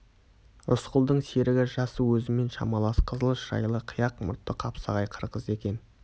рысқұлдың серігі жасы өзімен шамалас қызыл шырайлы қияқ мұртты қапсағай қырғыз екен